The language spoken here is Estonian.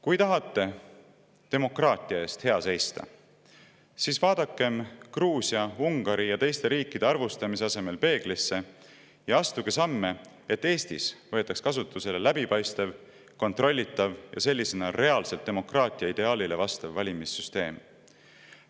Kui tahate demokraatia eest hea seista, siis vaadakem Gruusia, Ungari ja teiste riikide arvustamise asemel peeglisse ja astugem samme, et Eestis võetakse kasutusele läbipaistev, kontrollitav ja sellisena reaalselt demokraatia ideaalile vastav valimissüsteem.